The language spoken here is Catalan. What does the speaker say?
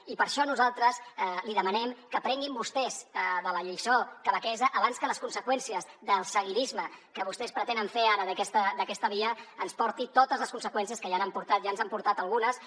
i per això nosaltres li demanem que aprenguin vostès de la lliçó quebequesa abans que les conseqüències del seguidisme que vostès pretenen fer ara d’aquesta via ens porti totes les conseqüències que ja ens n’han portat algunes